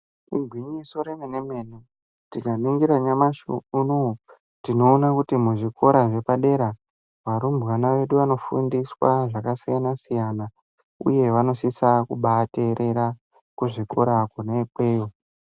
Igwinyiso remenemene tikaningira nyamashi unou tinoona kuti mizvikorq zvepadera varumbwana vedu vanofundiswa zvakasiyana siyana uye vanosisa kubaateerera kuzvikora kona ikweyo.